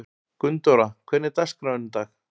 Gunndóra, hvernig er dagskráin í dag?